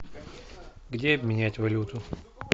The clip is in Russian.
где обменять валюту